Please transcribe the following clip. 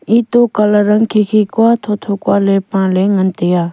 colour ang khikhi kua thotho kua le pale.